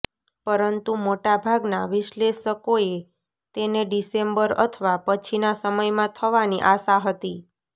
પરંતુ મોટાભાગના વિશ્લેષકોએ તેને ડિસેમ્બર અથવા પછીના સમયમાં થવાની આશા હતી